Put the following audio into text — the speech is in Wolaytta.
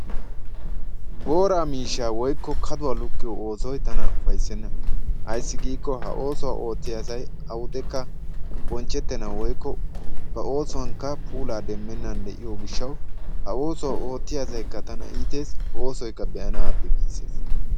Booraa miishshaa woykko kaduwa lukkiyo oosoy tana ufayssenna. Ayssi giikko ha oosuwa oottiya asay awudekka bonchchettennan woykko ba oosuwankka puulaa demmennan de'iyo gishshawu ha oosuwa oottiya asaykka tana iitees, oosoykka be'anaappe giissees.